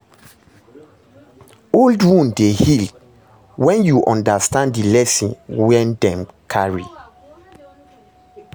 Old wound dey heal wen yu undastand di lesson wey dem carry